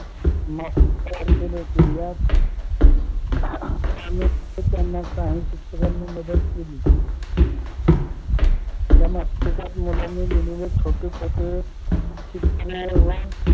मासिके तयार केले होते या काही शिक्षकांनी मदत केली त्या मासिकात मुलांनी लिहलेले छोटे छोटे चित्रे व